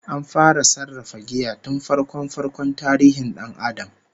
An fara sarrafa giya tun farko-farkon tarihin dan Adam